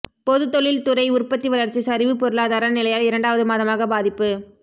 பொது தொழில் துறை உற்பத்தி வளர்ச்சி சரிவுபொருளாதார நிலையால் இரண்டாவது மாதமாக பாதிப்பு